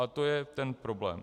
A to je ten problém.